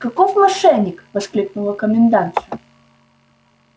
каков мошенник воскликнула комендантша